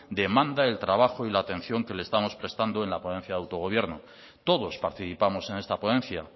demanda el trabajo y la atención que le estamos prestando en la ponencia de autogobierno todos participamos en esta ponencia